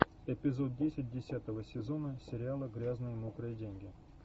эпизод десять десятого сезона сериала грязные мокрые деньги